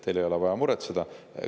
Teil ei ole vaja muretseda.